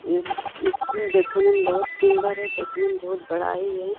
ये स्कूल देखने में बहुत सूंदर है। देखने में बहुत बड़ा ही है।